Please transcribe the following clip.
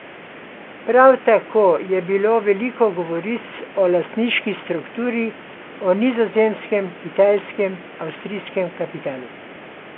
Prav tako je bilo veliko govoric o lastniški strukturi, o nizozemskem, kitajskem, avstrijskem kapitalu.